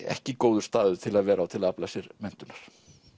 ekki góður staður til að vera á til að afla sér menntunar